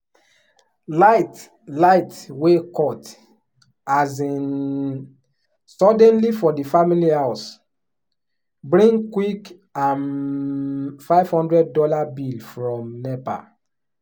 light light wey cut um suddenly for the family house bring quick um five hundred dollars bill from nepa.